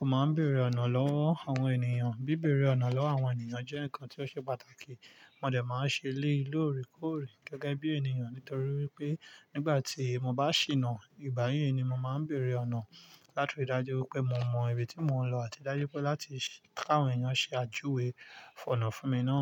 o máa ń bèrè ọ̀nà lọ́wọ́ àwọn ènìyàn? Bí bẹ̀rẹ̀ ọ̀nà lọ́wọ́ àwọn ènìyàn jẹ́ nǹkan tí ó ṣe pàtàkì, mo dẹ̀ máa ń ṣe léè lóòrè kóòrè gẹ́gẹ́ bí ènìyàn. Nítorí pé nígbà tí mo bá ṣìnà, ìgbà yẹn ni mo máa ń bèrè ọ̀nà, láti rí i dájú wípé mo mọ ibi tí mò ń lọ àti dájú pé láti kàwọn ènìyàn ṣe àjúwe fún ọ̀nà fún mi náà.